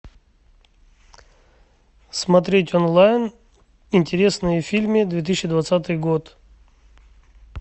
смотреть онлайн интересные фильмы две тысячи двадцатый год